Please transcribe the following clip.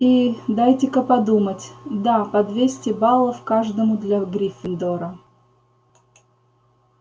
и дайте-ка подумать да по двести баллов каждому для гриффиндора